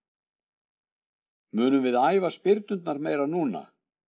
Munum við æfa spyrnurnar meira núna?